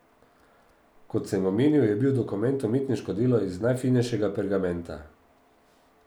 Kot sem omenil, je bil dokument umetniško delo iz najfinejšega pergamenta.